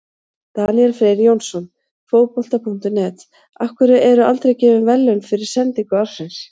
Daníel Freyr Jónsson, Fótbolta.net: Af hverju eru aldrei gefin verðlaun fyrir sendingu ársins?